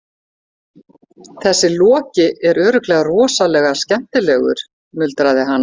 Þessi Loki er örugglega rosalega skemmtilegur, muldraði hann.